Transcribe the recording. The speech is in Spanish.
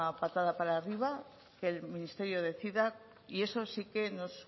patada para arriba que el ministerio decida y eso sí que nos